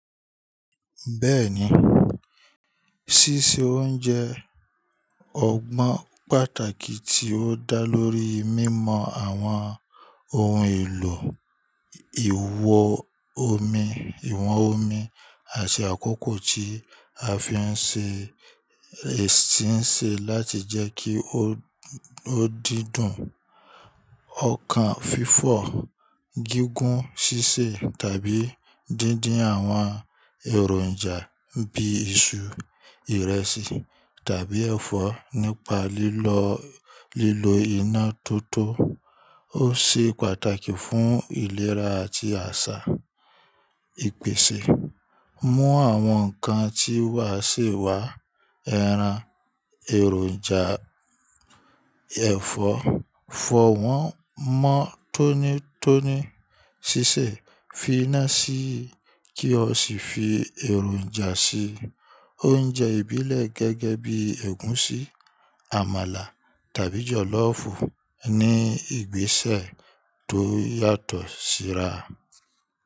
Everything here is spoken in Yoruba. Bẹ́ẹ̀ni, sísè oúnjẹ ọgbọ́n pàtàkì tí ó dá lórí mímọ àwọn oun èlò ìwọ omi, ìwọ̀n omi àti àkókò tí a fi ń ṣe ẹ̀sín se láti jẹ́ kí ó dídùn. Ọkàn fifọ, gígùn sísè tàbí dídín àwọn èròǹjà bíi iṣu, ìrẹsì tàbí ẹ̀fọ́ nípa lilọ lílo iná tó tó ó ṣe pàtàkì fún ìlera àti àsà. Mú àwọn nǹkan tí wà sì wá, ẹran, èròǹjà, ẹ̀fọ́, fọ wọ́n mọ́ tónítóní, sísè, fi iná sí i kí o sì fi èròǹjà sí i. Oúnjẹ ìbílẹ̀ gẹ́gẹ́ bíi ẹ̀gúnsí, àmàlà tàbí jọ̀lọ́ọ̀fù ní ìgbésẹ̀ tó yàtọ̀ síra.